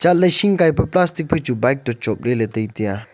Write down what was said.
olle shing kaipa plastic pachu bike to chopley ley tai taiya.